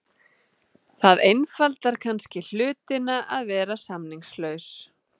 Það einfaldar kannski hlutina að vera samningslaus.